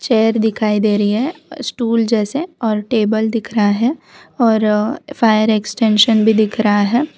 Chair दिखाई दे रही है स्टूल जैसे और टेबल दिख रहा है और फायर एक्सटेंशन भी दिख रहा है।